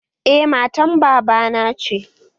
Eh, matan baba na ce